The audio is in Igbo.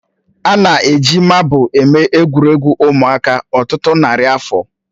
A na-eji mabụl eme egwuregwu ụmụaka ọtụtụ narị afọ